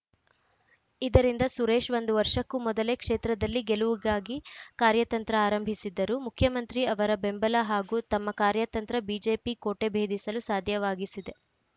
ಇದರಿಂದ ಸುರೇಶ್‌ ಒಂದು ವರ್ಷಕ್ಕೂ ಮೊದಲೇ ಕ್ಷೇತ್ರದಲ್ಲಿ ಗೆಲುವಿಗಾಗಿ ಕಾರ್ಯತಂತ್ರ ಆರಂಭಿಸಿದ್ದರು ಮುಖ್ಯಮಂತ್ರಿ ಅವರ ಬೆಂಬಲ ಹಾಗೂ ತಮ್ಮ ಕಾರ್ಯತಂತ್ರ ಬಿಜೆಪಿ ಕೋಟೆ ಬೇಧಿಸಲು ಸಾಧ್ಯವಾಗಿಸಿದೆ